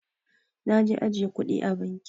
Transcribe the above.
Naje ajjiye kudi a banki.